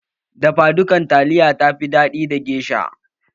Dafa dukan taliya ya fi daɗi da gesha